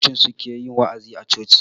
Fastoci su ke wa'azi a coci.